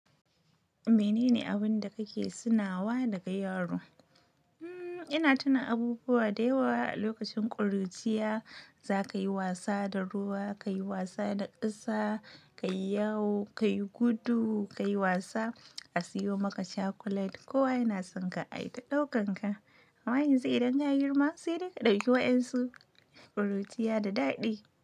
Menene abin da kake tunawa daga yaro? Hmm, ina tuna abubuwa da yawa a lokacin ƙuruciya. Za ka yi wasa da ruwa, ka yi wasa da ƙasa, ka yi yawo, ka yi gudu, ka yi wasa, a sayo maka cakulet. Kowa yana son ka a yi ta ɗaukar ka. Amma yanzu idan ka yi girma, sai dai ka ɗauki wa ƴansu, ƙuruciya da daɗi.